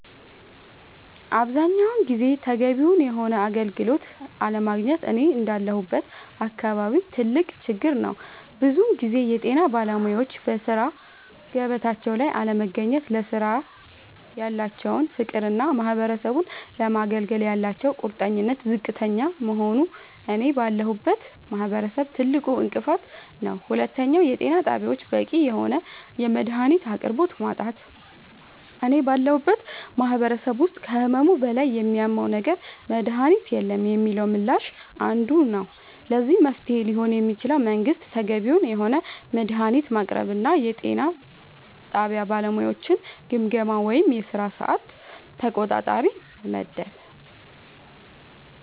አብዛኛውን ጊዜ ተገቢውን የሆነ አገልግሎት አለማግኘት እኔ እንዳለሁበት አካባቢ ትልቅ ችግር ነዉ ብዙ ጊዜ የጤና ባለሙያወች በሥራ ገበታቸው ላይ አለመገኘት ለስራው ያላቸው ፍቅርና ማህበረሰቡን ለማገልገል ያላቸው ቁርጠኝነት ዝቅተኛ መሆኑ እኔ ባለሁበት ማህበረሰብ ትልቁ እንቅፋት ነዉ ሁለተኛው የጤና ጣቢያወች በቂ የሆነ የመድሃኒት አቅርቦት ማጣት እኔ ባለሁበት ማህበረሰብ ውስጥ ከህመሙ በላይ የሚያመው ነገር መድሃኒት የለንም የሚለው ምላሽ አንዱ ነዉ ለዚህ መፍትሄ ሊሆን የሚችለው መንግስት ተገቢውን የሆነ መድሃኒት ማቅረብና የጤና ጣቢያ ባለሙያወችን ግምገማ ወይም የስራ ሰዓት ተቆጣጣሪ መመደብ